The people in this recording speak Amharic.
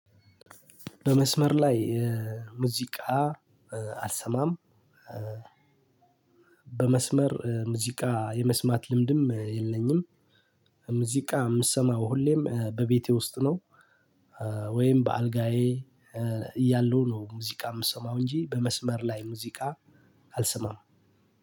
በመስመር ላይ ሙዚቃ አልሰማም። በመስመር ሙዚቃ የመስማት ልምድም የለኝም። ሙዚቃ የምሰማው ሁሌም በቤቴ ውስጥ ነው። ወይም በአልጋዬ እያለሁ ነው ሙዚቃ የምሰማው እንጂ በመስመር ላይ ሙዚቃ አልስማም።